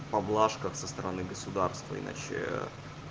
поблажка со стороны государства иначе